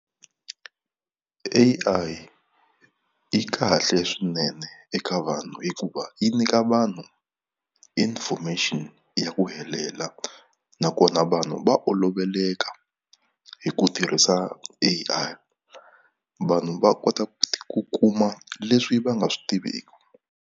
A_I yi kahle swinene eka vanhu hikuva yi nyika vanhu information ya ku helela nakona vanhu va oloveleka hi ku tirhisa A_I vanhu va kota ku kuma leswi va nga swi tiviku.